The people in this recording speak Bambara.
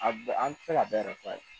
A bɛ an tɛ se ka bɛɛ fɔ a ye